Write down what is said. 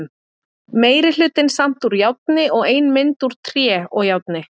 Meiri hlutinn samt úr járni og ein mynd úr tré og járni.